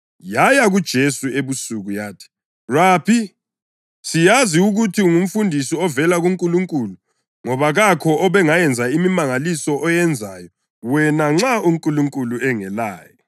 Yaya kuJesu ebusuku yathi, “Rabi, siyazi ukuthi ungumfundisi ovela kuNkulunkulu. Ngoba kakho obengayenza imimangaliso oyenzayo wena nxa uNkulunkulu engelaye.”